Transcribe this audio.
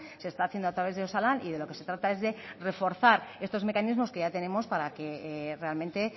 se está haciendo a través de osalan y de lo que se trata es de reforzar estos mecanismos que ya tenemos para que realmente